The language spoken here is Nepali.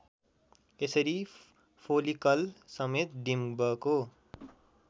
यसरी फोलिकलसमेत डिम्बको